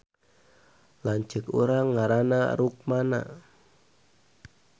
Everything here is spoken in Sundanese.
Lanceuk urang ngaranna Rukmana